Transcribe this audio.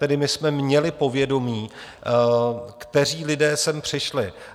Tedy my jsme měli povědomí, kteří lidé sem přišli.